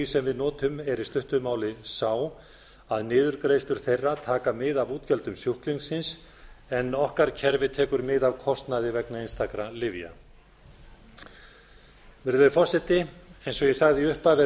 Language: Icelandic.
sem við notum er í stuttu máli sá að niðurgreiðslur þeirra taka mið af útgjöldum sjúklingsins en okkar kerfi tekur mið af kostnaði vegna einstakra lyfja virðulegi forseti eins og ég sagði í upphafi er